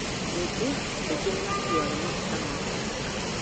Ningĩ angĩ nĩmakuaga maguta ma kwĩhaka